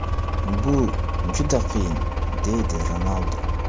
Bu juda qiyin”, deydi Ronaldu.